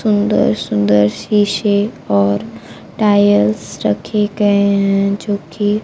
सुंदर सुंदर शीशे और टाइल्स रखे गए हैं जो कि--